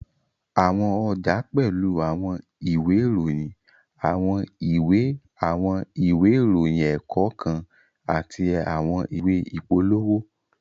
Àwọn ọjà pẹ́lú àwọn ìwé ìròyìn, àwọn ìwé àwọn ìwé ìròyìn ẹ̀kọ́ kan àti àwọn ìwé ìpolówó